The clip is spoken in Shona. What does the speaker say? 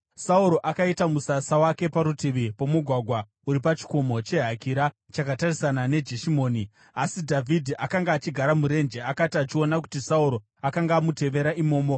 Sauro akaita musasa wake parutivi pomugwagwa uri pachikomo cheHakira chakatarisana neJeshimoni, asi Dhavhidhi akanga achigara murenje. Akati achiona kuti Sauro akanga amutevera imomo,